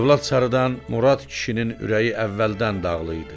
Övlad sarıdan Murad kişinin ürəyi əvvəldən dağlı idi.